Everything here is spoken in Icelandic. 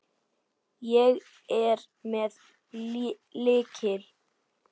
Ég er með lykil.